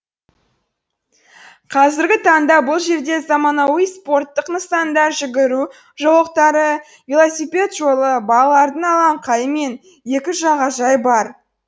қазіргі таңда бұл жерде заманауи спорттық нысандар жүгіру жолақтары велосипед жолы балалардың алаңқайы мен екі жағажай бар